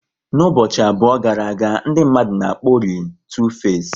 N'ụbọchị abụọ gara aga, ndị mmadụ na akpori Tu face